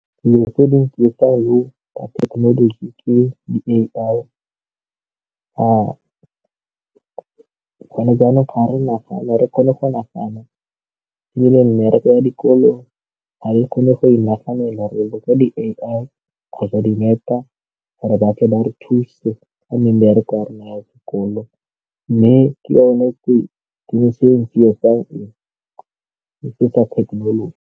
Dilo tse dintsi tsa thekenoloji ke di-A_I gone jaanong ga re nagane re kgone go nagana ebile mmereko ya dikolo ga di kgone go inaganela re dira ka di-A_I kgotsa dinepe gore ba tle ba re thuse ka mmereko ya rona ya sekolo mme ke tse dingwe e tsietsang, e etsa kgethololo.